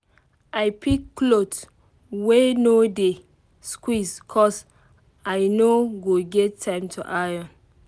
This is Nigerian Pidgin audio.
i pick cloth wey no dey squeeze cos i no go get time to iron